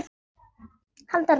Halda ró sinni.